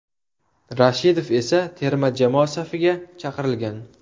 Rashidov esa terma jamoa safiga chaqirilgan.